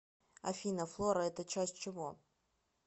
афина флора это часть чего